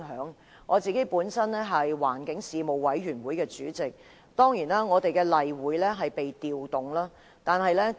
以我為例，我是環境事務委員會主席，我們的例會當然被調動了。